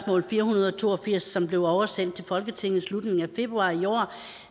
fire hundrede og to og firs som blev oversendt til folketinget i slutningen af februar i år